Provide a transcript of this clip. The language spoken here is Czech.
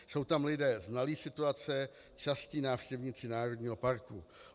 Jsou tam lidé znalí situace, častí návštěvníci národního parku.